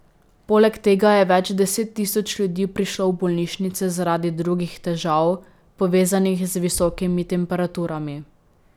Poleg tega je več deset tisoč ljudi prišlo v bolnišnice zaradi drugih težav, povezanih z visokimi temperaturami.